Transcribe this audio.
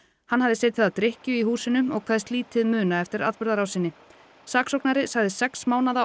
hann hafði setið að drykkju í húsinu og kveðst lítið muna eftir atburðarrásinni saksóknari sagði sex mánaða